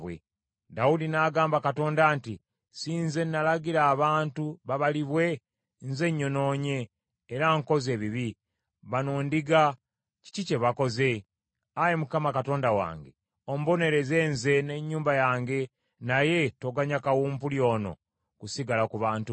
Dawudi n’agamba Katonda nti, “Si nze nalagira abantu babalibwe? Nze nnyonoonye, era nkoze ebibi. Bano ndiga, kiki kye bakoze? Ayi Mukama Katonda wange, ombonereze nze ne nnyumba yange, naye toganya kawumpuli ono kusigala ku bantu bo.”